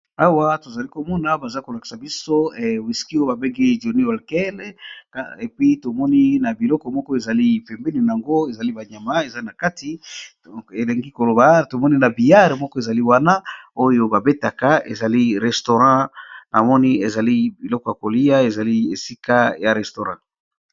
Awa to zali ko mona baza ko lakisa biso wisky ba bengi johny Walker et puis to moni na biloko moko ezali pembeni nango ezali ba nyama eza na kati, elingi ko loba to moni na biyard moko, ezali wana oyo ba betaka ezali restaurant na moni, ezali biloko ya kolia ezali esika ya restaurant .